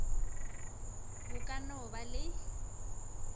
o ka no ba le